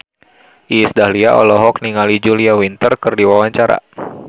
Iis Dahlia olohok ningali Julia Winter keur diwawancara